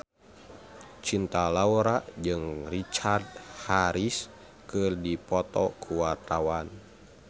Cinta Laura jeung Richard Harris keur dipoto ku wartawan